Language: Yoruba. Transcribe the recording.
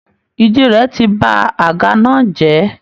Ìdí rẹ̀ ti ba àga náà jẹ́